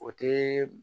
O tɛ